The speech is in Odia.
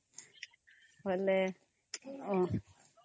ବେଲେ ହୁଁ